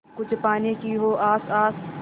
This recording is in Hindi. कुछ पाने की हो आस आस